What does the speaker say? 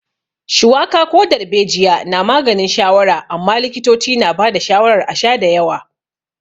Shuwaka ko darbejiya na maganin shawara amma likitoci na ba da shawarar a sha da yawa.